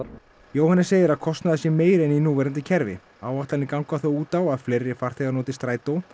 Jóhannes segir að kostnaður sé meiri en í núverandi kerfi áætlanir ganga þó út á að fleiri farþegar noti Strætó